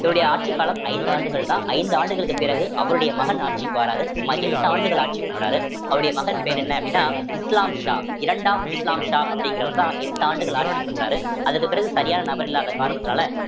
இவருடைய ஆட்சிக் காலம் ஐந்து ஆண்டுகள்தான் ஐந்து ஆண்டுகளுக்குப் பிறகு அவருடைய மகன் ஆட்சிக்கு வாராரு சுமார் எட்டு ஆண்டுகள் ஆட்சி பண்றாரு அவருடைய மகன் பேர் என்ன அப்படின்னா இஸ்லாம் ஷா இரண்டாம் இஸ்லாம் ஷா அப்படிங்கிறவர்தான் எட்டு ஆண்டுகள் ஆட்சி பண்றாரு அதுக்குப் பிறகு சரியான நபர் இல்லாத காரணத்தினால